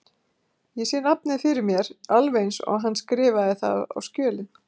Ég sé nafnið fyrir mér alveg eins og hann skrifaði það á skjölin.